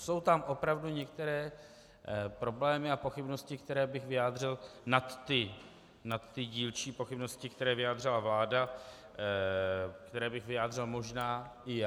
Jsou tam opravdu některé problémy a pochybnosti, které bych vyjádřil nad ty dílčí pochybnosti, které vyjádřila vláda, které bych vyjádřil možná i já.